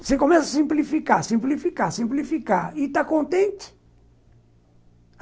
Você começa a simplificar, simplificar, simplificar, e está contente?